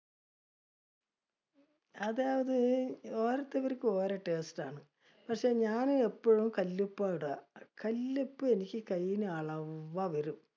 അതായത്, ഓരോരുത്തർക്കും ഓരോ taste ആണ്. പക്ഷേ ഞാന്ന് എപ്പോളും കല്ലുപ്പായിട. കല്ലുപ്പ് എനിക്ക് കയ്യില് അളവാ വരും.